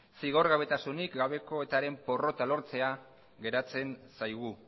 zigorgabetasunik gabeko eta ren porrota lortzea geratzen zaigu